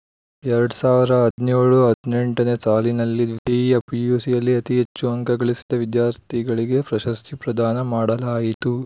ಎರಡ್ ಸಾವಿರದ ಹದಿನೇಳು ಹದಿನೆಂಟು ನೇ ಸಾಲಿನಲ್ಲಿ ದ್ವಿತೀಯ ಪಿಯುಸಿಯಲ್ಲಿ ಅತೀ ಹೆಚ್ಚು ಅಂಕ ಗಳಿಸಿದ ವಿದ್ಯಾರ್ಥಿಗಳಿಗೆ ಪ್ರಶಸ್ತಿ ಪ್ರದಾನ ಮಾಡಲಾಯಿತು